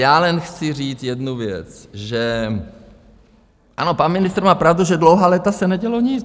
Já jen chci říct jednu věc, že - ano, pan ministr má pravdu, že dlouhá léta se nedělo nic.